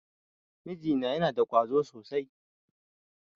Miji na yana da ƙwazo sosai.